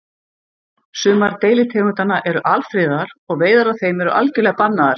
Sumar deilitegundanna eru alfriðaðar og veiðar á þeim eru algjörlega bannaðar.